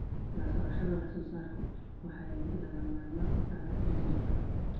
La socoshada wax soo saarku waxay lagama maarmaan u tahay horumarka.